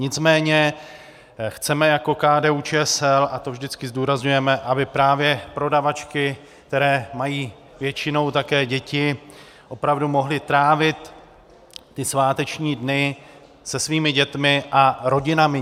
Nicméně chceme jako KDU-ČSL, a to vždycky zdůrazňujeme, aby právě prodavačky, které mají většinou také děti, opravdu mohly trávit ty sváteční dny se svými dětmi a rodinami.